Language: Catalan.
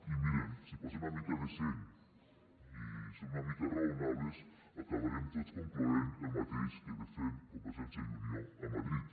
i miren si posen una mica de seny i són una mica rao nables acabarem tots concloent el mateix que defèn convergència i unió a madrid